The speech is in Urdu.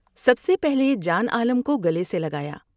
سب سے پہلے جان عالم کو گلے سے لگایا ۔